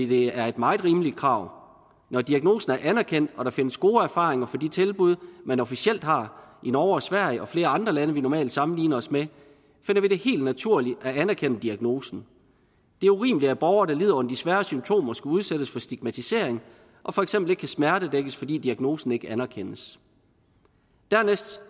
det er et meget rimeligt krav når diagnosen er anerkendt og der findes gode erfaringer fra de tilbud man officielt har i norge og sverige og flere andre lande vi normalt sammenligner os med finder vi helt naturligt at anerkende diagnosen det er urimeligt at borgere der lider under de svære symptomer skal udsættes for stigmatisering og for eksempel ikke kan smertedækkes fordi diagnosen ikke anerkendes dernæst